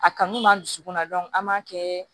A kanu b'an dusukun na an b'a kɛ